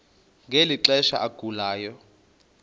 ngeli xesha agulayo